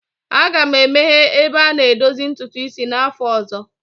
Aga m emeghe ebe a na-edozi ntutu isi n'afọ ọzọ.